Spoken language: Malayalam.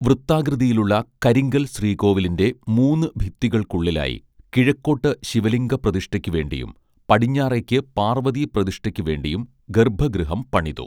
വൃത്താകൃതിയിലുള്ള കരിങ്കൽ ശ്രീകോവിലിന്റെ മൂന്ന് ഭിത്തികൾക്കുള്ളിലായി കിഴക്കോട്ട് ശിവലിംഗ പ്രതിഷ്ഠയ്ക്കു വേണ്ടിയും പടിഞ്ഞാറേക്ക് പാർവ്വതീ പ്രതിഷ്ഠയ്ക്കു വേണ്ടിയും ഗർഭഗൃഹം പണിതു